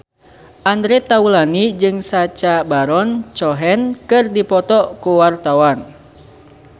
Andre Taulany jeung Sacha Baron Cohen keur dipoto ku wartawan